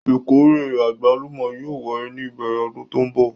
Ìkórè àgbálùmọ́ yóò wáyé ní ìbẹ̀rẹ̀ ọdún tó ń bọ̀.